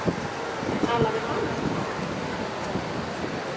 Tala við hana?